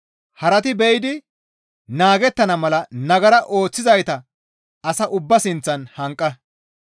Harati be7idi naagettana mala nagara ooththizayta asa ubbaa sinththan hanqa.